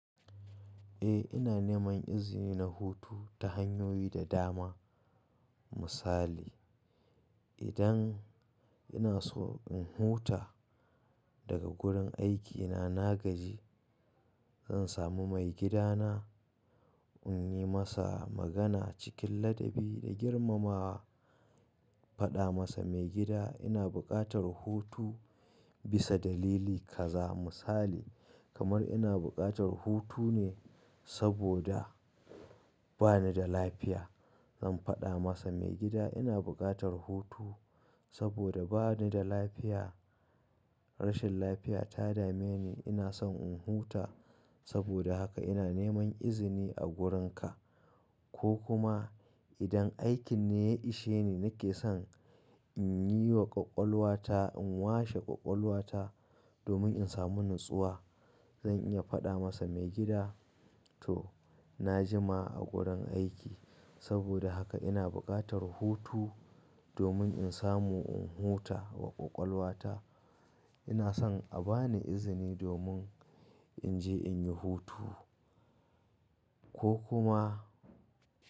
Eh ina neman izini na hutu ta hanyoyi da dama. Misali, idan ina so in huta daga gurin aikina na gaji, zan samu maigidana in yi masa magana cikin ladabi da girmamawa. Faɗa masa maigida ina buƙatar hutu bisa dalili kaza. Misali kamar ina buƙatar hutu ne saboda ba ni da lafiya. Zan faɗa masa maigida ina buƙatar hutu saboda ba ni da lafiya. Rashin lafiya ta dame ni. Ina son in huta. Saboda haka ina neman izini a gurin ka. Ko kuma idan aikin ne ya ishe ni nake son in yi wa ƙwaƙwalwa ta in washe ƙwaƙwalwa ta domin in samu natsuwa. Zan iya faɗa masa maigida to na jima a gurin aiki. Saboda haka ina buƙatar hutu domin in samu in huta wa ƙwaƙwalwa ta. Ina son a ba ni izini domin in je in yi hutu. Ko kuma.